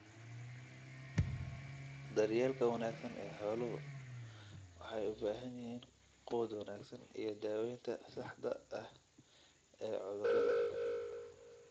Daryeelka wanaagsan ee xooluhu waxay u baahan yihiin quud wanaagsan iyo daawaynta saxda ah ee cudurrada.